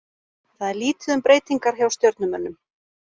Það er lítið um breytingar hjá Stjörnumönnum.